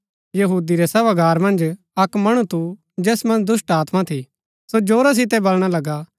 यहूदी रै सभागार मन्ज अक्क मणु थू जैस मन्ज दुष्‍टात्मा थी सो जोरा सितै बलणा लगा